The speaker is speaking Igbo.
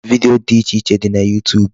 Video dị iche iche dị na YouTube.